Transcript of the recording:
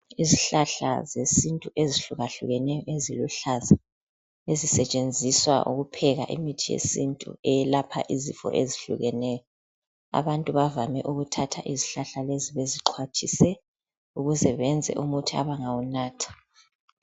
Izihlahla zesintu ezihluka hlukeneyo eziluhlaza ezisetshenziswa ukupheka imithi yesintu eyelapha izifo ezihlukeneyo, abantu bavame ukuthatha izihlahla lezi bezixhwathise ukuze benze umuthi abangawunatha.